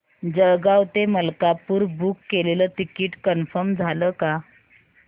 जळगाव ते मलकापुर बुक केलेलं ticket confirm झालं का